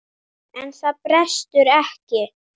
En það brestur ekki.